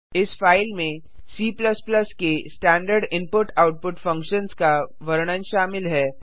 इस फाइल में C में स्टैंडर्ड इनपुट आउटपुट फंक्शन्स का वर्णन शामिल है